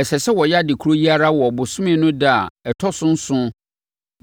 Ɛsɛ sɛ woyɛ ade korɔ yi ara wɔ ɔbosome no ɛda a ɛtɔ so nson